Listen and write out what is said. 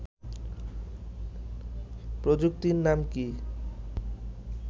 প্রযুক্তির নাম কি